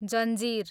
जन्जिर